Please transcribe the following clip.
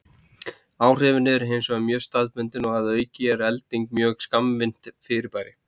Áhrifin eru hins vegar mjög staðbundin og að auki er elding mjög skammvinnt fyrirbæri.